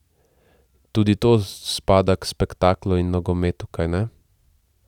Tudi to spada k spektaklu in nogometu, kajne?